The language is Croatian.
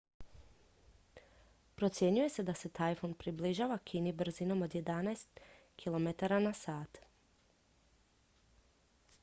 procjenjuje se da se tajfun približava kini brzinom od jedanaest km/h